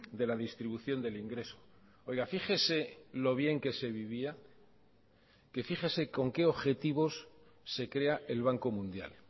de la distribución del ingreso oiga fíjese lo bien que se vivía que fíjese con qué objetivos se crea el banco mundial